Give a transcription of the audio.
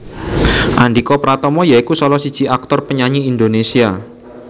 Andhika Pratama ya iku salah siji aktor lan penyanyi Indonésia